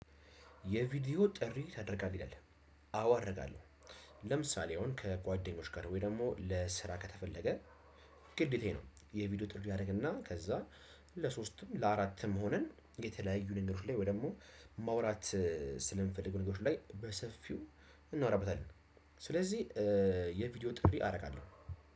የቪዲዮ ጥሪ ታደርጋለህ? ይላል፤ አዎ አደርጋለው። ለምሳሌ አሁን ከጓደኞች ጋር ወይ ደግሞ ለስራ ከተፈለገ ግዴታዬ ነው፤ የቪዲዮ ጥሪ አረግና ከዛ ለሶስትም ለአራትም ሆነን የተለያዩ ነገሮች ላይ ወይ ደግሞ ማውራት ስለምንፈልገው ነገሮች ላይ በሰፊው እናወራበታለን። ስለዚህ የቪዲዮ ጥሪ አረጋለው።